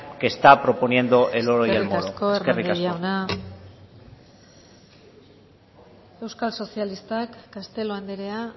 que está proponiendo el oro y el moro eskerrik asko eskerrik asko hernández jauna euskal sozialistak castelo andrea